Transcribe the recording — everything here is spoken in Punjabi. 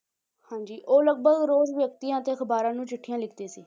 ਹਾਂਜੀ ਉਹ ਲਗਪਗ ਰੋਜ਼ ਵਿਅਕਤੀਆਂ ਅਤੇ ਅਖ਼ਬਾਰਾਂ ਨੂੰ ਚਿੱਠੀਆਂ ਲਿਖਦੇ ਸੀ।